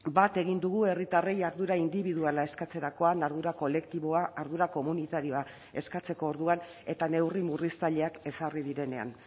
bat egin dugu herritarrei ardura indibiduala eskatzerakoan ardura kolektiboa ardura komunitarioa eskatzeko orduan eta neurri murriztaileak ezarri direnean